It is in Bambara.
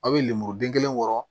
A' bɛ lemuruden kelen wɔrɔ